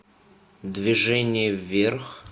движение вверх